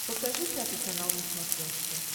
покажи пятый канал на смотрешке